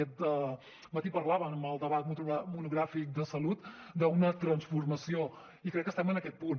aquest matí parlàvem en el debat monogràfic de salut d’una transformació i crec que estem en aquest punt